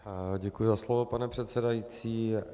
Děkuji za slovo, pane předsedající.